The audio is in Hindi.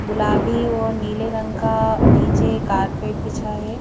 गुलाबी और नीले रंग का नीचे कारपेट पिछा है.